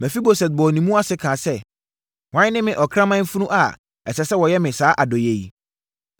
Mefiboset bɔɔ ne mu ase kaa sɛ, “Hwan ne me, ɔkraman funu a ɛsɛ sɛ wɔyɛ me saa adɔeɛ yi?”